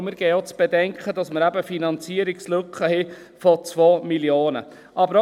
Und wir geben auch zu bedenken, dass wir eben Finanzierungslücken haben von 2 Mio. Franken.